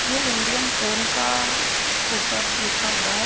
ये Indian train का ऊपर लिखा हुआ है।